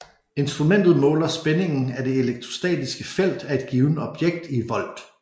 Instrumentet måler spændingen af det elektrostatiske felt af et givent objekt i volt